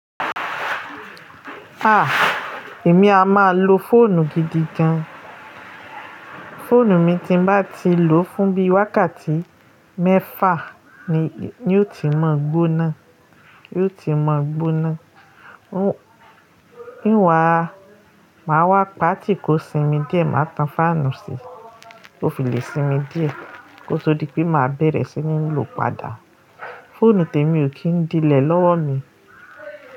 Èmi a máa lo fóònù gidi gan. Fóònù mii tí n bá ti lò fún bí wákàtí mẹ́fà, ni ó ti máa gbóná máa wá pà tí kò sinmi díẹ̀, màá tan fáànù sí kó fi lè sinmi díẹ̀ kó tó di pé màá bẹ̀rẹ̀ sí ní lò padà. Fóònù tèmi ò kí n dílẹ̀ lọ́wọ́ mi.